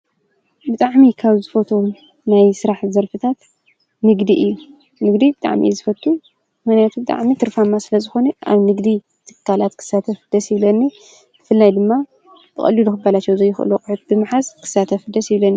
ብጣዕሚ ካብ ዝፈትዎም ናይ ስራሕ ዘርፊታት ንግዲ እዩ፡፡ ንግዲ ብጣዕሚ እየ ዝፈትው ምኽንያቱ ብጣዕሚ ትርፋማ ስለዝኾነ ኣብ ንግዲ ትካላት ክሳተፍ ደስ ይብለኒ፡፡ ብፍላይ ድማ ብቐሊሉ ክባላሸው ዘይኽእሉ ኣቑሑት ብምሓዝ ክሳተፍ ደስ ይብለኒ፡፡